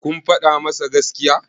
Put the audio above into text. kun faɗa masa gaskiya?